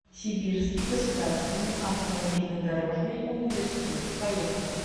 сибирский государственный автомобильно дорожный университет поехали